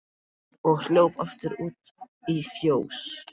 og hljóp aftur út í fjós.